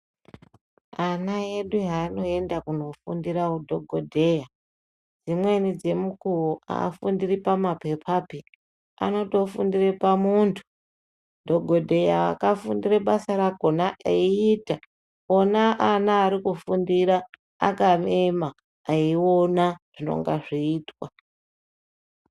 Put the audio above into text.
Ana edu hanoenda kundofundira hudhokodheya Dzimwnei dzemukuwo afundiri pamapepapi anotofundiri pamuntu dhokodheya akafundira basa rakona eiita vana vakufundira vakaema veiona zvinenge zveiitwa.